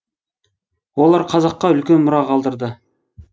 олар қазаққа үлкен мұра қалдырды